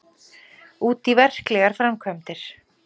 Útí verklegar framkvæmdir.